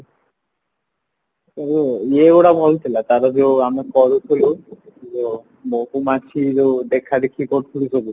ଇଏ ଗୁଡା ଭଲ ଥିଲା ଆମେ କରୁଥିଲୁ ଯୋଉ ମହୁ ମାଛି ଯୋଉ ଦେଖାଦେଖି କରୁଥିଲୁ ସବୁ